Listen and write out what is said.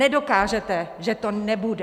Nedokážete, že to nebude.